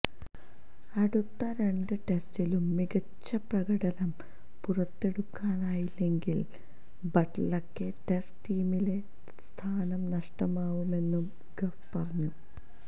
അടുത്ത രണ്ട് ടെസ്റ്റിലും മികച്ച പ്രകടനം പുറത്തെടുക്കാനായില്ലെങ്കില് ബട്ലര്ക്ക് ടെസ്റ്റ് ടീമിലെ സ്ഥാനം നഷ്ടമാവുമെന്നും ഗഫ് പറഞ്ഞു